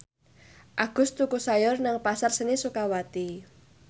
Agus tuku sayur nang Pasar Seni Sukawati